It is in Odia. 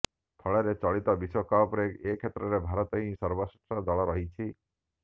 ଫଳରେ ଚଳିତ ବିଶ୍ବକପ୍ରେ ଏକ୍ଷେତ୍ରରେ ଭାରତ ହିଁ ସର୍ବଶ୍ରେଷ୍ଠ ଦଳ ରହିଛି